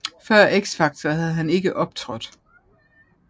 Før X Factor havde han ikke optrådt